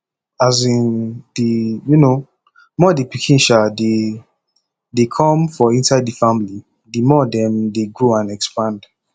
um the um more the pikin um de de come for inside the family the more dem de grow and expand